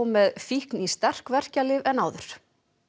með fíkn í sterk verkjalyf en áður